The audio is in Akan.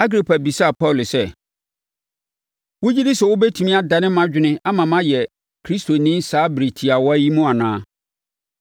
Agripa bisaa Paulo sɛ, “Wogye di sɛ wobɛtumi adane mʼadwene ama mayɛ Kristoni saa ɛberɛ tiawa yi mu anaa?”